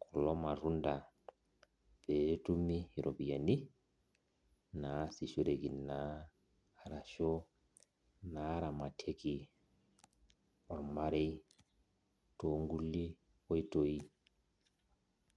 kulo matunda petumi iropiyiani, naasishoreki naa arashu naramatieki ormarei tonkulie oitoi.